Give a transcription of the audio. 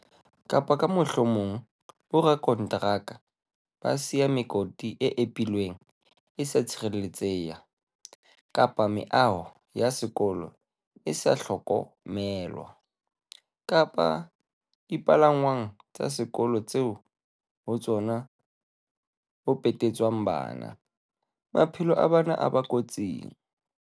Kapa ka mohlomong bo radikonteraka ba siya mekoti e epilweng e sa tshireletseha kapa meaho ya sekolo e sa hloko melwa, kapa dipalangwang tsa sekolo tseo ho tsona ho pete tswang bana, maphelo a bana a ba kotsing.